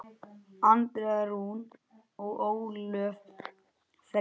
Andrea Rún og Ólöf Freyja.